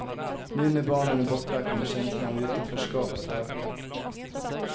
Nu när barnen är borta kommer känslan av utanförskap att öka.